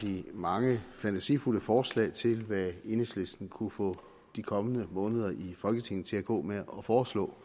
de mange fantasifulde forslag til hvad enhedslisten kunne få de kommende måneder i folketinget til at gå med at foreslå